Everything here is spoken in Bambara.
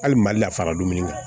Hali mali la fara dumuni kan